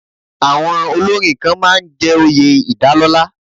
Awon olórin kan máa ń jẹ́ oyè ìdálọ́lá.